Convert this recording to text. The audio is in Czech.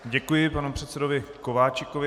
Děkuji panu předsedovi Kováčikovi.